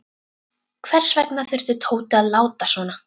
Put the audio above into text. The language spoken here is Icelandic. Hvers vegna þurfti Tóti að láta svona.